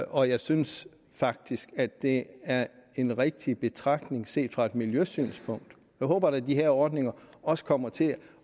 og jeg synes faktisk at det er en rigtig betragtning set fra et miljøsynspunkt jeg håber da at de her ordninger også kommer til